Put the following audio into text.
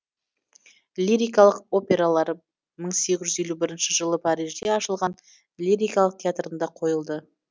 лирикалық опералар мың сегіз жүз елу бірінші жылы парижде ашылған лирикалық театрында қойылды